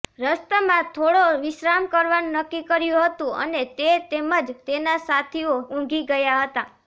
રસ્તમાં થોડો વિશ્રામ કરવાનું નક્કી કર્યું હતું અને તે તેમજ તેના સાથીઓ ઊંઘી ગયા હતા